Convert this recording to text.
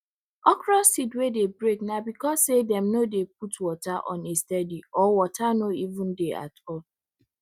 okro seed wey dey break na becos say dem no dey put water on a steady or water no even dey at all